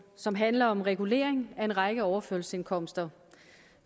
som handler om regulering af en række overførselsindkomster